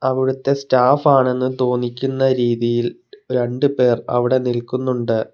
അവിടുത്തെ സ്റ്റാഫ് ആണെന്ന് തോന്നിക്കുന്ന രീതിയിൽ രണ്ടുപേർ അവിടെ നിൽക്കുന്നുണ്ട്.